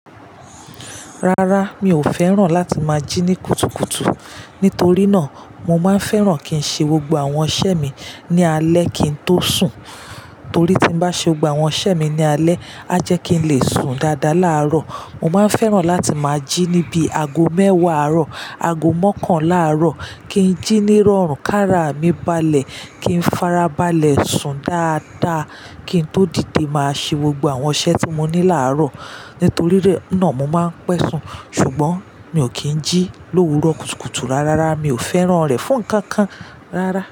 Rárá, mi ò fẹ́ràn láti máa jí ní kùtùkùtù. Nítorí náà, mo máa ń fẹ́ràn kí n ṣe gbogbo àwọn iṣẹ́ mi ní alẹ́ kí n tó sùn. Torí tí n bá ṣe gbogbo àwọn iṣẹ́ mi ní alẹ́, a jẹ́ kí n lè sùn dáadáa láàárọ̀. Mo máa ń fẹ́ràn láti máa jí níbi ago mẹ́wàá àárọ̀, ago mọ́kànlá àárọ̀ kí n jí ní rọrùn, kára mi balẹ̀ kí n fara balẹ̀ sùn dáadáa kí n tó dìde máa ṣe gbogbo àwọn iṣẹ́ tí mo ní láàárọ̀. Nítorí náà mo máa ń pẹ́ sùn. Ṣùgbọ́n mi ò kí ń jí l'òwúrọ̀ kùtùkùtù rárá, mi ò fẹ́ràn rẹ̀ fún kan kan rárá.